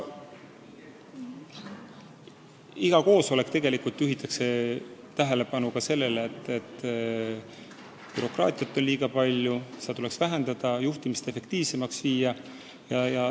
Igal koosolekul juhitakse tähelepanu näiteks sellele, et bürokraatiat on liiga palju, ja leitakse, et seda tuleks vähendada, et juhtimine efektiivsemaks muuta.